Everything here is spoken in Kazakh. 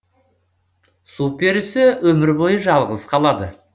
су перісі өмір бойы жалғыз қалады